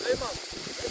Süleyman.